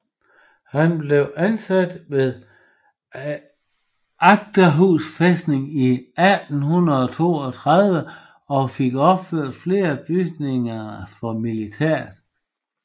Han blev ansat ved Akershus fæstning i 1832 og fik opført flere bygninger for militæret